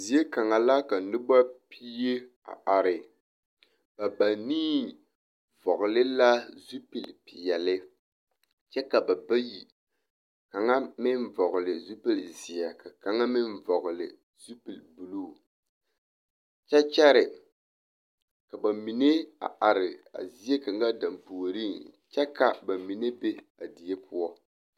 Zie kaŋa la ka noba pie a are, ba banii vɔgele la zupili peɛle kyɛ ka ba bayi kaŋa meŋ vɔgele zupili zeɛ ka kaŋa meŋ vɔgele zupili buluu kyɛ kyɛre ka bamine a are zie kaŋa dampuoriŋ kyɛ ka bamine be a die poɔ.